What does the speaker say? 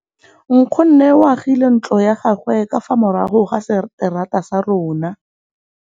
Nkgonne o agile ntlo ya gagwe ka fa morago ga seterata sa rona.